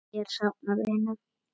Ég er að safna vinum.